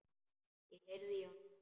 Ég heyrði í honum!